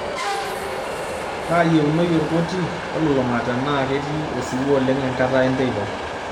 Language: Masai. kaayieunoyu orkoti olulung'a tenaa ketii osiwuo oleng' enkata enteipa